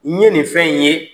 N ye nin fɛn in ye.